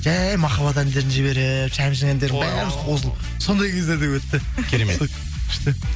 жай махаббат әндерін жіберіп шәмшінің әндерін бәріміз қосылып сондай кездер де өтті керемет күшті